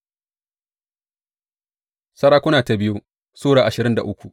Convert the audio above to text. biyu Sarakuna Sura ashirin da uku